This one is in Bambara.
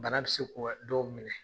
Bana bɛ se ko dɔw minɛ.